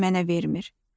Birini də mənə vermir.